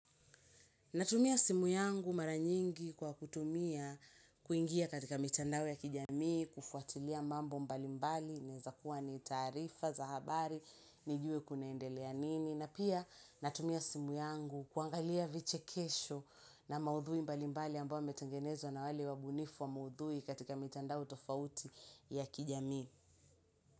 Natumia simu yangu mara nyingi kwa kutumia kuingia katika mitandao ya kijamii, kufuatilia mambo mbalimbali, inaeza kuwa ni taarifa, za habari, nijue kunaendelea nini. Na pia natumia simu yangu kuangalia vichekesho na maudhui mbalimbali ambao yametengenezwa na wale wabunifu wa maudhui katika mitandao tofauti ya kijamii.